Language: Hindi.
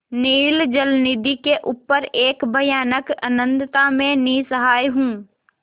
नील जलनिधि के ऊपर एक भयानक अनंतता में निस्सहाय हूँ